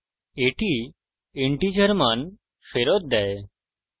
এটি integer মান ফেরত দেয়